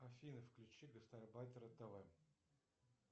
афина включи гастарбайтера тв